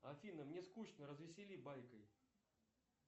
афина мне скучно развесели байкой